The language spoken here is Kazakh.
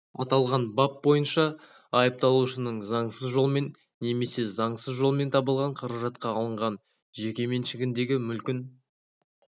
аталған бап бойынша айыпталушының заңсыз жолмен немесе заңсыз жолмен табылған қаражатқа алынған жеке меншігіндегі мүлкін